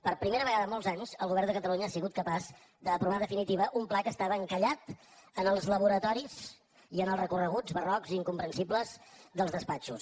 per primera vegada en molts anys el govern de catalunya ha sigut capaç d’aprovar definitivament un pla que estava encallat en els laboratoris i en els recorreguts barrocs i incomprensibles dels despatxos